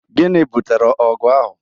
Gịnị bụtere ọgụ ahụ?